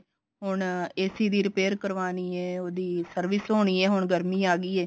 ਹੁਣ AC ਦੀ repair ਕਰਵਾਨੀ ਐ ਉਹਦੀ service ਹੋਣੀ ਹੈ ਹੁਣ ਗਰਮੀ ਆ ਗਈ ਐ